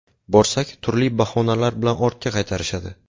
Borsak, turli bahonalar bilan ortga qaytarishadi.